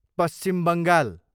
Paschim Bengal